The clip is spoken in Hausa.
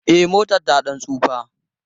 E, motar ta ɗan tsufa.